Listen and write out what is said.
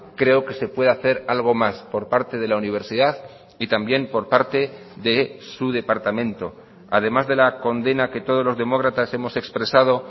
creo que se puede hacer algo más por parte de la universidad y también por parte de su departamento además de la condena que todos los demócratas hemos expresado